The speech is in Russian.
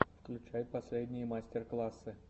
включай последние мастер классы